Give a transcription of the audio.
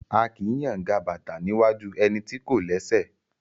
A kì í yang bàtá ní iwájú ẹni tí kò lẹ́sẹ̀.